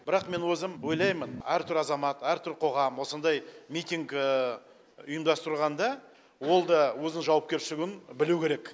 бірақ мен өзім ойлаймын әртүр азамат әртүр қоғам осындай митинг ұйымдастырғанда ол да өзінің жауапкершілігін білу керек